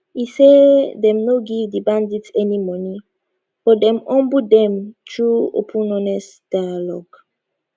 e say dem no give di bandits any money but dem humble dem through open honest dialogue